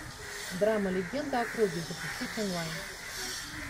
драма легенды о круге запустить онлайн